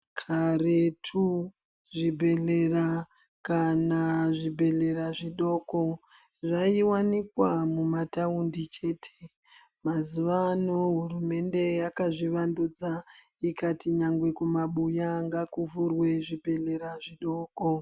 Karetu zvibhedhlera kana zvibhedhlera zvidoko zvaiwanikwa mumataundi chete. Mazuvano hurumende yakazvivandudza ikati nyangwe kumabuya ngakuvhurwe zvibhedhlera zvidoko.